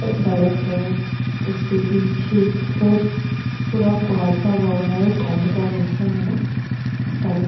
सड़क है उसके पीछे फिर पूरा कुहासा हुआ है ठंड का मौसम है ना इस कारण।